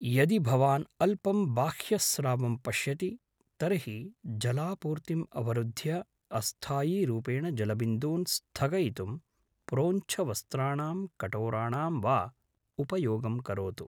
यदि भवान् अल्पं बाह्यस्रावं पश्यति तर्हि जलापूर्तिम् अवरुद्ध्य अस्थायीरूपेण जलबिन्दून् स्थगयितुं प्रोञ्छवस्त्राणां कटोराणां वा उपयोगं करोतु।